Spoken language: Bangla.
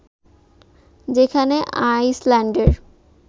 যেখানে আইসল্যান্ডের